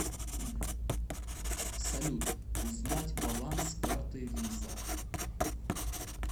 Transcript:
салют узнать баланс карты виза